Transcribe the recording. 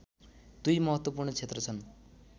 दुई महत्त्वपूर्ण क्षेत्र छन्